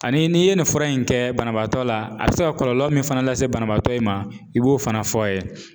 Ani n'i ye nin fura in kɛ banabaatɔ la a bɛ se ka kɔlɔlɔ min fana lase banabaatɔ in ma i b'o fana fɔ ye.